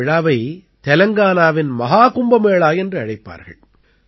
இந்த விழாவை தெலங்கானாவின் மஹாகும்பமேளா என்று அழைப்பார்கள்